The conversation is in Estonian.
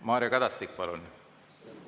Mario Kadastik, palun!